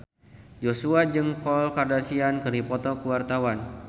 Joshua jeung Khloe Kardashian keur dipoto ku wartawan